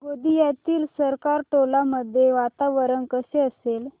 गोंदियातील सरकारटोला मध्ये वातावरण कसे असेल